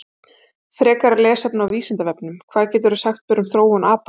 Frekara lesefni á Vísindavefnum: Hvað geturðu sagt mér um þróun apa?